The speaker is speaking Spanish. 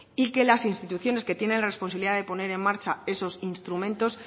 y que las instituciones que tienen las posibilidades de poner en marcha esos instrumentos